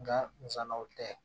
Nka nsanaw tɛ